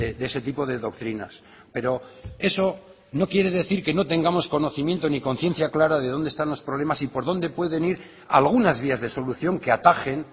de ese tipo de doctrinas pero eso no quiere decir que no tengamos conocimiento ni conciencia clara de donde están los problemas y por dónde pueden ir algunas vías de solución que atajen